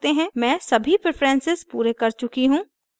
मैं सभी preferences पूरे कर चुकी हूँ